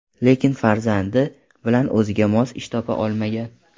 Lekin farzandi bilan o‘ziga mos ish topa olmagan.